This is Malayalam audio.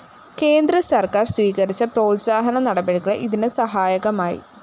കേന്ദ്രസര്‍ക്കാര്‍ സ്വീകരിച്ച പ്രോത്സാഹന നടപടികള്‍ ഇതിന് സഹായകമായി